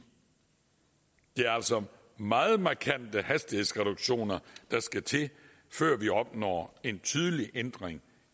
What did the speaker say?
det er altså meget markante hastighedsreduktioner der skal til før vi opnår en tydelig ændring